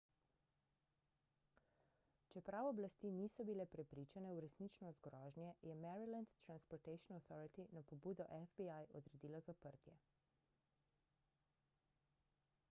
čeprav oblasti niso bile prepričane v resničnost grožnje je maryland transportation authority na pobudo fbi odredila zaprtje